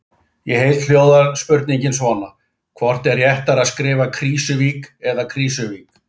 Í heild hljóðar spurningin svona: Hvort er réttara að skrifa Krýsuvík eða Krísuvík?